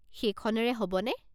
সেইখনেৰে হ'বনে?